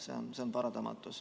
See on paratamatus.